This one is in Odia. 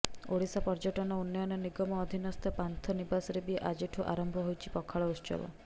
ଓଡ଼ିଶା ପର୍ଯ୍ୟଟନ ଉନ୍ନୟନ ନିଗମ ଅଧୀନସ୍ଥ ପାନ୍ଥ ନିବାସରେ ବି ଆଜିଠୁ ଆରମ୍ଭ ହୋଇଛି ପଖାଳ ଉତ୍ସବ